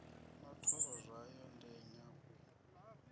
na thoro dzawo ndenya u